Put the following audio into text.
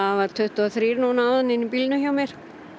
var tuttugu og þremur núna áðan inni í bílnum hjá mér